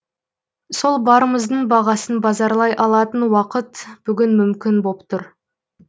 сол барымыздың бағасын базарлай алатын уақыт бүгін мүмкін боп тұр